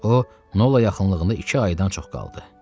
O, Nola yaxınlığında iki aydan çox qaldı.